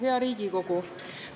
Hea Riigikogu!